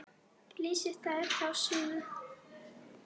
Flysjið þær þá fyrir suðu.